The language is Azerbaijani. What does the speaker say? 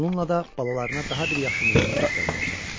Bununla da balalarına daha bir yaxşı nümunə göstərməyə çalışdı.